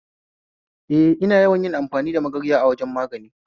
A a, maza ba sa amfani da lalle